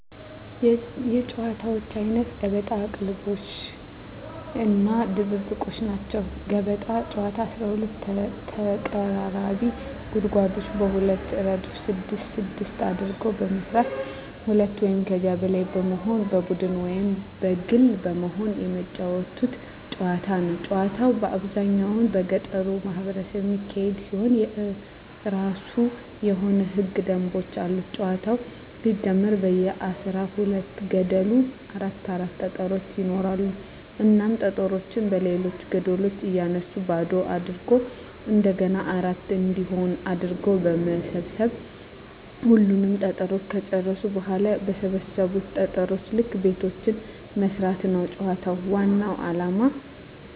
የጨዋታወች አይነት ገበጣ፣ ቅልሞሽ(ቅልልቦሽ) እና ድብብቆሽ ናቸዉ። ገበጣ ጨዋታ 12 ተቀራራቢ ጉድጓዶችን በሁለት እረድፍ ስድስት ስድስት አድርጎ በመስራት ሁለት ወይም ከዚያ በላይ በመሆን በቡድን ወይም በግል በመሆን የመጫወቱት ጨዋታ ነዉ። ጨዋታዉ በአብዛኛዉ በገጠሩ ማህበረሰብ የሚካሄድ ሲሆን የእራሱ የሆኑ ህገ ደንቦችም አሉት ጨዋታዉ ሲጀመር በየ አስራ ሁለት ገደሉ አራት አራት ጠጠሮች ይኖራሉ እናም ጠጠሮችን በሌሎች ገደሎች እያነሱ ባዶ አድርጎ እንደገና አራት እንዲሆን አድርጎ በመሰብ ሰብ ሁሉንም ጠጠሮች ከጨረሱ በኋላ በሰበሰቡት ጠጠር ልክ ቤቶችን መስፋት ነዉ የጨዋታዉ ዋናዉ አላማ።